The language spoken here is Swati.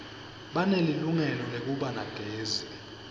banelilungelo lekuba nagezi